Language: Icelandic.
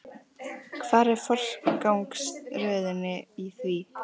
Hvar er forgangsröðunin í því?